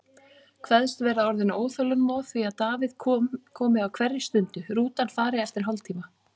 Kveðst vera orðin óþolinmóð því að Davíð komi á hverri stundu, rútan fari eftir hálftíma.